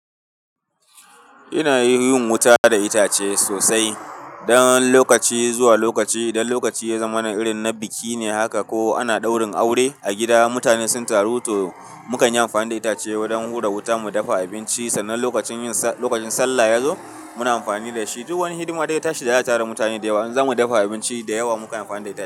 Ina yin wuta da itace sosai. Dan lokaci zuwa lokaci, idan lokaci ya zama na irin na biki ne haka ko ana ɗaurin aure a gida, mutane sun taru to mukanyi amfani da itace wajen hura wuta mu dafa abinci. Sannan lokacin sallah ya zo muna amfani dashi. Duk wani hidima daya tashi da za a tara mutane da yawa, in zamu dafa abinci da yawa mukanyi amfani da itace.